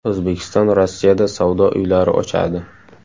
O‘zbekiston Rossiyada savdo uylari ochadi.